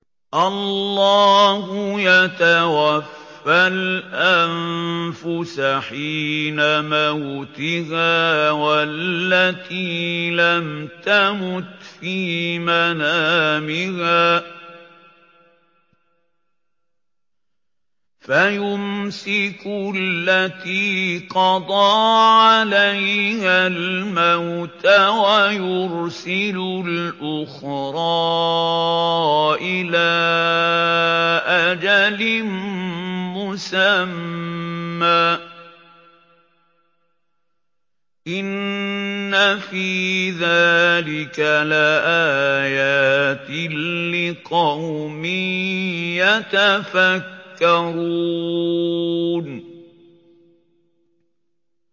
اللَّهُ يَتَوَفَّى الْأَنفُسَ حِينَ مَوْتِهَا وَالَّتِي لَمْ تَمُتْ فِي مَنَامِهَا ۖ فَيُمْسِكُ الَّتِي قَضَىٰ عَلَيْهَا الْمَوْتَ وَيُرْسِلُ الْأُخْرَىٰ إِلَىٰ أَجَلٍ مُّسَمًّى ۚ إِنَّ فِي ذَٰلِكَ لَآيَاتٍ لِّقَوْمٍ يَتَفَكَّرُونَ